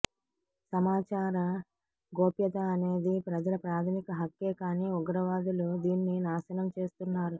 సమాచార గోప్యత అనేది ప్రజల ప్రాథమిక హక్కే కానీ ఉగ్రవాదులు దీన్ని నాశనం చేస్తున్నారు